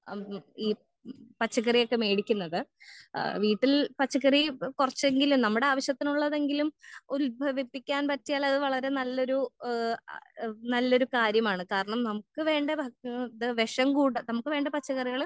ആ ഈ പച്ചക്കറിയൊക്കെ മെടിക്കുന്നത് ആ വീട്ടിൽ പച്ചക്കറി കൊറച്ചെങ്കിലും നമ്മടെ ആവശ്യത്തിനുള്ളതെങ്കിലും ഉത്ഭവിപ്പിക്കാൻ പറ്റിയാൽ അത് വളരെ നല്ലൊരു ഏഹ് ആ ഏഹ് നല്ലൊരു കാര്യമാണ് കാരണം നമ്മുക്ക് വേണ്ട ഭക്ക് ഏഹ് ഇത് വേഷം കൂട നമ്മുക്ക് വേണ്ട പച്ചകറികൾ